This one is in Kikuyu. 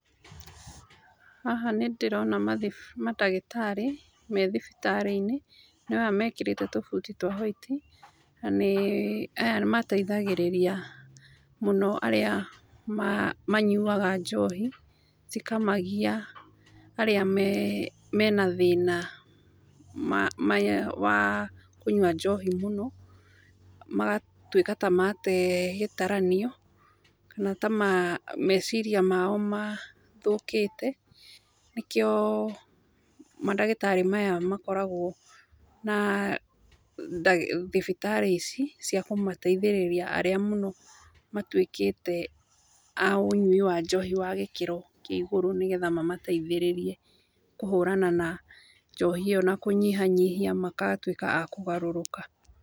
Haha nĩ ndĩrona madagĩtarĩ me thibitarĩinĩ nĩo aya mekĩrĩte tubuti twa white na nĩ aya nĩ mateithagĩrĩria mũno arĩa manyuaga njohi cikamagia arĩa mena thĩna wa kunyua njohi mũno magatuĩka ta mate gĩtaranio kana ta meciria mao mathũkĩte nĩkĩo mandagĩtarĩ maya makoragwo na thibitarĩ ici cia kũmateithĩrĩria arĩa mũno matuĩkĩte a ũnyui wa njohi wa gĩkĩro kĩa igũrũ nĩgetha mamateithĩrĩrie kũhũrana na njohi ĩyo na kũnyihianyihia magatũĩka a kũgarũrũka.